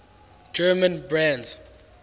german brands